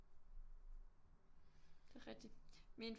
Det er rigtigt min